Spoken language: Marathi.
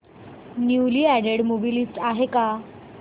न्यूली अॅडेड मूवी लिस्ट आहे का